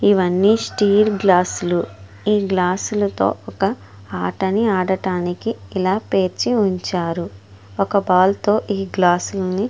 ఇవన్నీ స్టీలు గ్లాసులు ఈ గ్లాసులతో ఒక ఆటని ఆడడానికి ఇలా పేర్చి ఉంచారు ఒక బాలు తో ఈ గ్లాసులన్నీ --